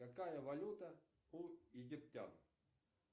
какая валюта у египтян